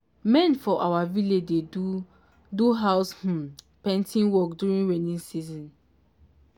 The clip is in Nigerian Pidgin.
men for our village dey do do house um painting work during rainy season.